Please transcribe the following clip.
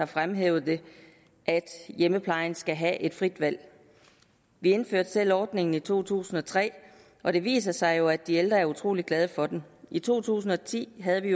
fremhævet er at hjemmeplejen skal have et frit valg vi indførte selv ordningen i to tusind og tre og det viser sig jo at de ældre er utrolig glade for den i to tusind og ti havde vi